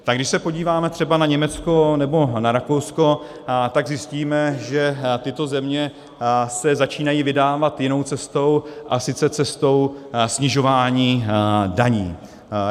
Tak když se podíváme třeba na Německo nebo na Rakousko, tak zjistíme, že tyto země se začínají vydávat jinou cestou, a sice cestou snižování daní.